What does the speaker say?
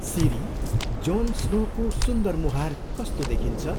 सिरी, Jon स्नोको सुन्दर मुहार कस्तो देखिन्छ?